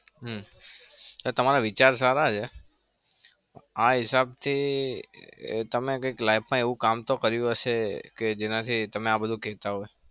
હમ તો તમારા વિચાર સારા છે આ હિસાબથી તમે કંઈક life માં એવું કામ તો કર્યું હશે કે જેનાથી તમે આ બધું કેતા હોય.